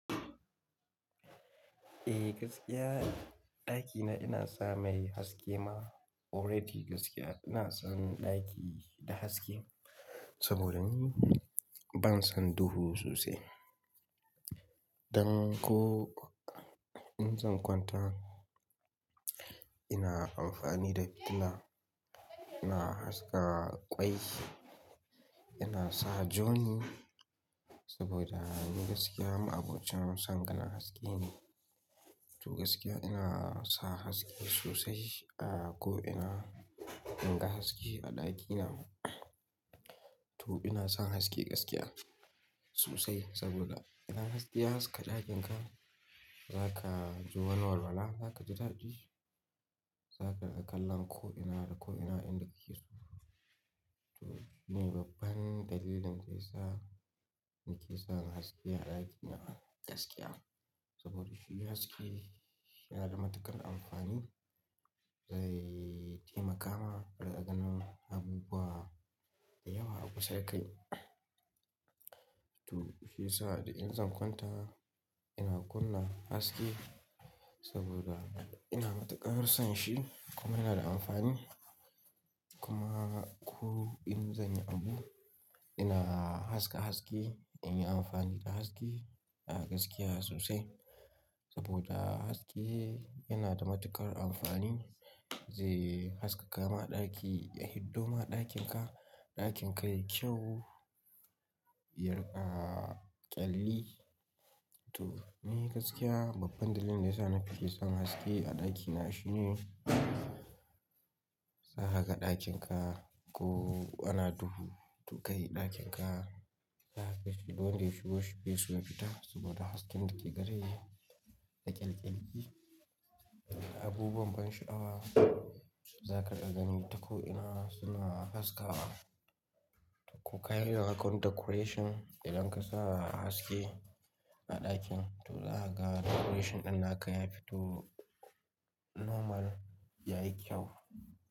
Eh gaskiya ɗakina ina sa mai haske ma already gaskiya ina son ɗaki da haske saboda ni ban son duhu sosai. Dan ko in zan kwanta ina amfani da, ina, ina haska ƙwai, ina sa journey saboda ni gaskiya abocin san kallan haske ne. To gaskiya ina sa haske sosai, a ko ina in ga haske a ɗakina. To ina son haske gaskiya sosai saboda idan haske ya haska ɗakinka zaka ji wani walwala, zaka ji dadi, zaka ga kallon ko ina da ko ina inda kike so. To shine ne babban dalilin da ya sa nike sanya haske a ɗakina gaskiya. Saboda shi haske yana da matuƙar amfani, zai taimaka ma da ganin abubuwa da yawa a kusa da kai. To shi yasa da in zan kwanta ina kunna haske saboda ina matuƙar son shi kuma yana da amfani. Kuma ko in zanyi abu ina haska haske, ina yi amfani da haske a gaskiya sosai saboda haske yana da matuƙar amfani zai haskaka ma ɗaki, ya hiddo ma ɗakin ka, ɗakin ka yayi kyau, ya ƙyalli. To ni gaskiya babban dalilin da ya sa nafi ke son haske a ɗakina shine za gaka ɗakin ka ko ana duhu to kai ɗakin ka, zaka ganshi duk wanda ya shigo shi bai so ya fita saboda hasken da ke gare shi da ƙyanƙyanki. Abubuwan ban sha'awa zaka iya gani ta ko ina suna haskawa. Ko ka yanda zakai wani decoration idan ka sa haske a ɗakin to za ka ga decoration ɗin naka yafi to normal yayi kyau.